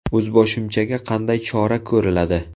O‘zboshimchaga qanday chora ko‘riladi?